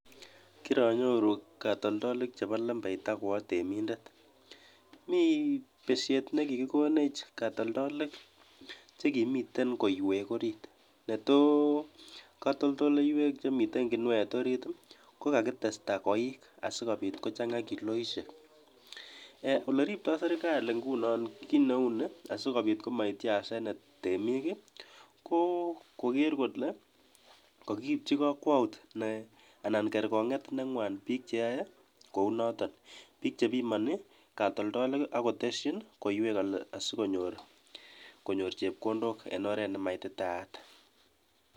Kiranyor katoltoleiwek chepo lembekta kiranyoru katoltoleiwek chetinye koiik chechang KO magat kekachi kertamkony chopik chotok chepo katoltoleiwek